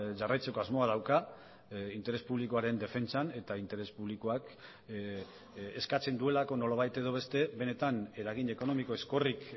jarraitzeko asmoa dauka interes publikoaren defentsan eta interes publikoak eskatzen duelako nolabait edo beste benetan eragin ekonomiko ezkorrik